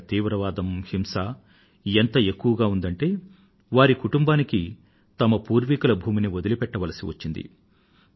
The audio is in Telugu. అక్కడ తీవ్రవాదం హింస ఎంత ఎక్కువగా ఉందంటే వారి కుటుంబానికి తమ పూర్వీకుల భూమిని వదలిపెట్టవలసి వచ్చింది